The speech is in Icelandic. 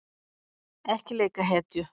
Ekki leika hetju